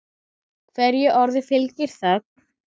Hverju orði fylgir þögn.